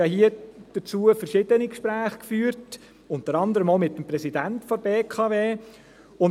Ich habe hierzu verschiedene Gespräche geführt, unter anderem auch mit den Präsidenten der BKW.